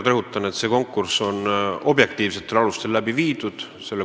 Ma rõhutan veel kord: see konkurss korraldati objektiivsetel alustel.